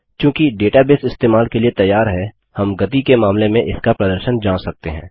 चूँकि डेटाबेस इस्तेमाल के लिए तैयार है हम गति के मामले में इसका प्रदर्शन जाँच सकते हैं